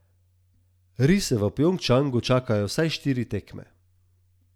Rise v Pjongčangu čakajo vsaj štiri tekme.